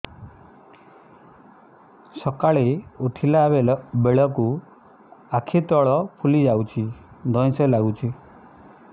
ସକାଳେ ଉଠିଲା ବେଳକୁ ଆଖି ତଳ ଫୁଲି ଯାଉଛି ଧଇଁ ସଇଁ ଲାଗୁଚି